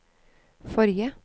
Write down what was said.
forrige